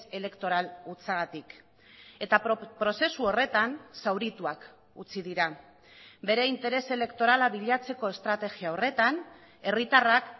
elektoral hutsagatik eta prozesu horretan zaurituak utzi dira bere interes elektorala bilatzeko estrategia horretan herritarrak